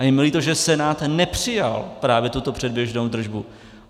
A je mi líto, že Senát nepřijal právě tuto předběžnou držbu.